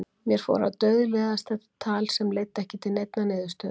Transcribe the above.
Mér fór að dauðleiðast þetta tal sem leiddi ekki til neinnar niðurstöðu.